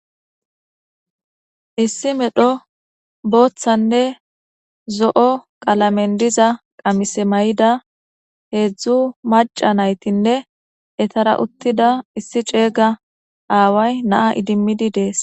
Issi medho boothanne zo7o qalameni diza qamise mayida heedzu macca naytinne etara uttida issi ceega away na7a idimmidi dees.